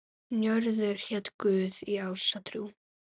Njörður hét guð í ásatrú.